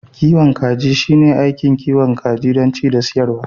kiwon kaji shine aikin kiwon kaji don ci da siyarwa